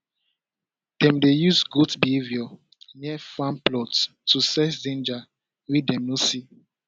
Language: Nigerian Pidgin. dem dey use goat behaviour near farm plots to sense danger wey dem no see